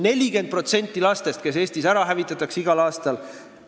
Igal aastal hävitatakse Eestis 40% lastest.